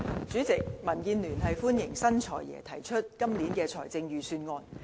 主席，民主建港協進聯盟歡迎新"財爺"提出今年的財政預算案。